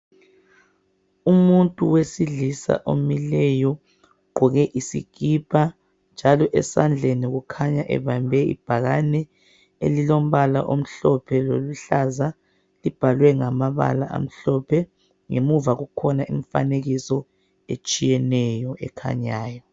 Umuntu wesilisa omileyo, ugqoke isikipa. Njalo esandleni ukhanya ebambe ibhakane elilombala omhlophe loluhlaza. Libhalwe ngama bala amhlophe. Ngemuva kukhona imfanekiso etshiyeneyo ekhanyayo.